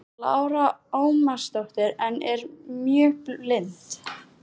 Lára Ómarsdóttir: En er mjög blint?